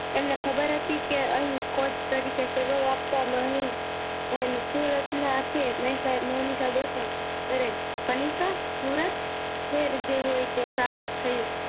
એમને ખબર હતી કે અહી કોટ તરીકે સેવા ઓ આપવા માં અહે એમ સુરત ના છે મહેસા મનીષા દેસાઈ ત્યારે મનીષા સુરત ખેર જે હોય તે સારું થયું